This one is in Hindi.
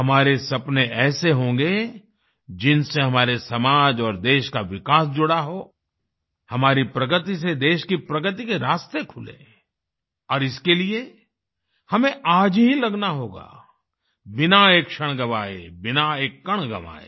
हमारे सपने ऐसे होंगे जिनसे हमारे समाज और देश का विकास जुड़ा हो हमारी प्रगति से देश की प्रगति के रास्ते खुलें और इसके लिए हमें आज ही लगना होगा बिना एक क्षण गँवाए बिना एक कण गँवाये